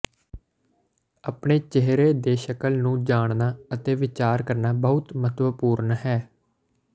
ਆਪਣੇ ਚਿਹਰੇ ਦੇ ਸ਼ਕਲ ਨੂੰ ਜਾਣਨਾ ਅਤੇ ਵਿਚਾਰ ਕਰਨਾ ਬਹੁਤ ਮਹੱਤਵਪੂਰਨ ਹੈ